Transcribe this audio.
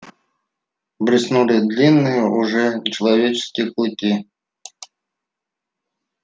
блеснули длинные уже нечеловеческие клыки